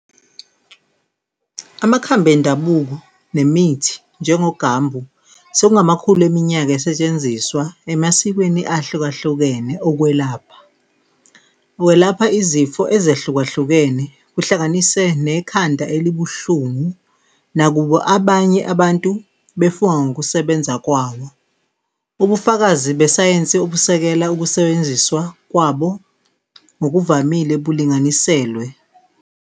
Amakhambi endabuko nemithi njengoGambu sekungamakhulu eminyaka esetshenziswa emasikweni ahlukahlukene ukwelapha. Welapha izifo ezehlukahlukene, kuhlanganise nekhanda elibuhlungu, nakuba abanye abantu befunga ngokusebenza kwawo. Ubufakazi besayensi obusekela ukusebenziswa kwabo ngokuvamile bulinganiselwe.